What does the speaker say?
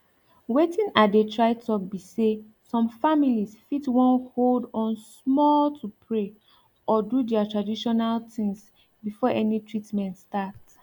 wetin i dey try talk be say some families fit wan hold on small to pray or do their traditional things before any treatment start